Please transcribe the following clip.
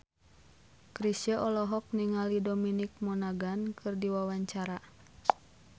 Chrisye olohok ningali Dominic Monaghan keur diwawancara